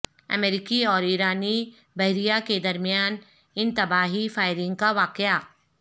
امریکی اور ایرانی بحریہ کے درمیان انتباہی فائرنگ کا واقعہ